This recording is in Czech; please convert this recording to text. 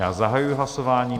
Já zahajuji hlasování.